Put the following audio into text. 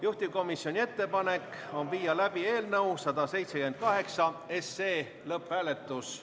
Juhtivkomisjoni ettepanek on viia läbi eelnõu 178 lõpphääletus.